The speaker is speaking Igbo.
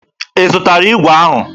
Ị zụtara igwe ahụ?